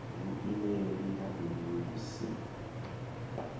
vhuimeli ha bindu ḽi si